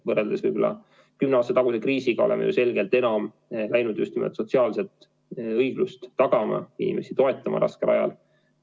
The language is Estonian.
Võrreldes kümne aasta taguse kriisiga oleme ju selgelt enam soovinud just nimelt sotsiaalset õiglust tagada, inimesi toetada raskel ajal.